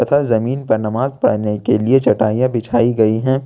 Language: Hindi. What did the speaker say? तथा जमीन पर नमाज पढ़ने के लिए चटाइयां बिछाई गई हैं।